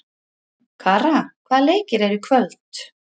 Kara, hvaða leikir eru í kvöld?